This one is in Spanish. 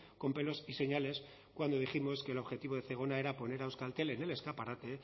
con pelos y señales cuando dijimos que el objetivo de zegona era poner a euskaltel en el escaparate